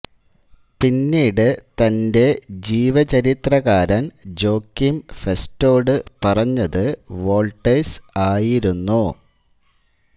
പിന്നീട് തന്റെ ജീവചരിത്രകാരൻ ജോക്കീം ഫെസ്റ്റോടു പറഞ്ഞത് വോൾട്ടേഴ്സ് ആയിരുന്നു